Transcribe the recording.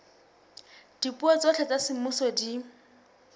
dipuo tsohle tsa semmuso di